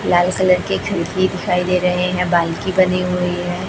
लाल colour की खिड़की दिखाई दे रही है बाल्की बनी हुई है।